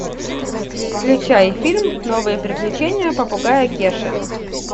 включай фильм новые приключения попугая кеши